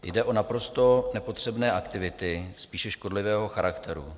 Jde o naprosto nepotřebné aktivity spíše škodlivé charakteru.